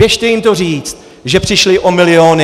Běžte jim to říct, že přišli o miliony.